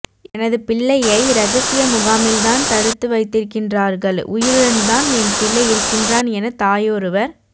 எனது பிள்ளையை இரகசிய முகாமில் தான் தடுத்து வைத்திருக்கின்றார்கள் உயிருடன் தான் என் பிள்ளை இருக்கின்றான் என தாயொருவர்